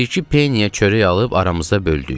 Bir-iki peniyə çörək alıb aramızda böldük.